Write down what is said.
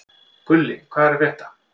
Gulli, hvað er að frétta?